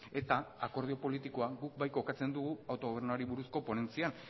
eta akordio politikoan guk bai kokatzen dugu autogobernuari buruzko ponentzian